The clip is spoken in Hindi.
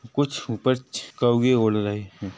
कुछ ऊपर छ कौऐ उड़ रहे है।